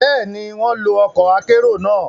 Béèni, wọn lo ọkọ akero náà